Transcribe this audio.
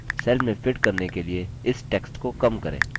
cell में fit करने के लिए इस text को कम करें